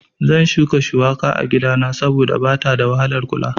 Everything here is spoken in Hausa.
Zan shuka shuwaka a gidana saboda bata da wahalar kula